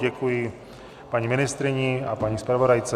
Děkuji paní ministryni a paní zpravodajce.